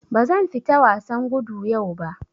Bazan fita wasan gudu yau ba.